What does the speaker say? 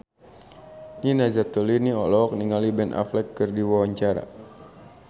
Nina Zatulini olohok ningali Ben Affleck keur diwawancara